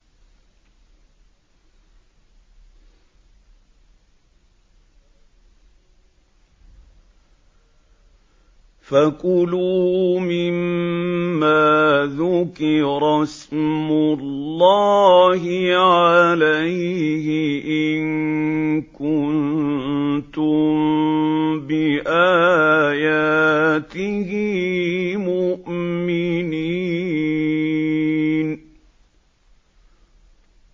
فَكُلُوا مِمَّا ذُكِرَ اسْمُ اللَّهِ عَلَيْهِ إِن كُنتُم بِآيَاتِهِ مُؤْمِنِينَ